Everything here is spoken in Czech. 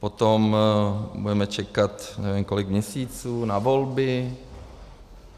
Potom budeme čekat, nevím, kolik měsíců na volby.